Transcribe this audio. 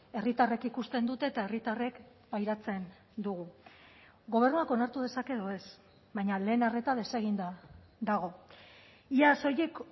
herritarrek ikusten dute eta herritarrek pairatzen dugu gobernuak onartu dezake edo ez baina lehen arreta deseginda dago ia soilik